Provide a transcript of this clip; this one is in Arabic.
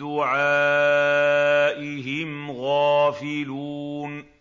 دُعَائِهِمْ غَافِلُونَ